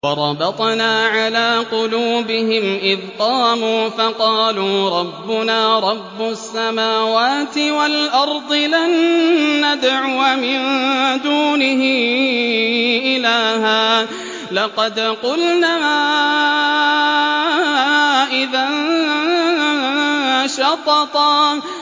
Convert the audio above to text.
وَرَبَطْنَا عَلَىٰ قُلُوبِهِمْ إِذْ قَامُوا فَقَالُوا رَبُّنَا رَبُّ السَّمَاوَاتِ وَالْأَرْضِ لَن نَّدْعُوَ مِن دُونِهِ إِلَٰهًا ۖ لَّقَدْ قُلْنَا إِذًا شَطَطًا